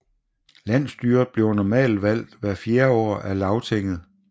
Landsstyret bliver normalt valgt hvert fjerde år af Lagtinget